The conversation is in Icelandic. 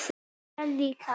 Ég líka.